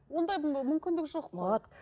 ондай мүмкіндік жоқ қой вот